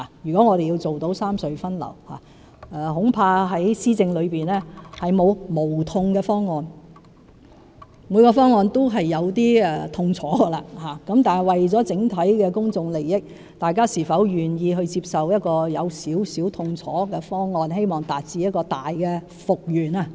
如果我們要達到三隧分流，恐怕在施政上並沒有無痛方案，每個方案也有一些痛楚，但為了整體公眾利益，大家是否願意接受有點痛楚的方案，以期達致更大的復原。